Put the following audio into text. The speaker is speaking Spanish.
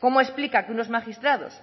cómo explica que unos magistrados